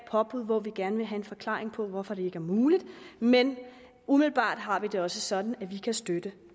påbud hvor vi gerne vil have en forklaring på hvorfor det ikke er muligt men umiddelbart har vi det også sådan at vi kan støtte